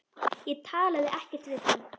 Ég talaði ekkert við hann.